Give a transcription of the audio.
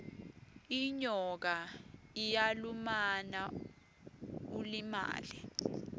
inyoka iyalumana ulimale